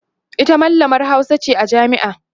ita mallamar Hausa ce a jami'a